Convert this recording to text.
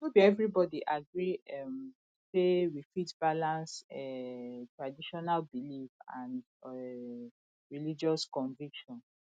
no be everybody agree um sey we fit balance um traditional belief and um religious conviction